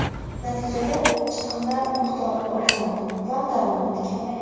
Natijada, chiqimlar miqdori ortadi va daromad kamayadi.